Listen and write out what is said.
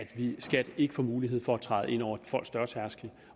skat ikke får mulighed for at træde ind over folks dørtærskel